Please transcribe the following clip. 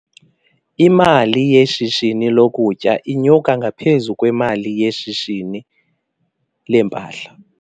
Imali yeshishini lokutya inyuka ngaphezu kwemali yeshishini leempahla.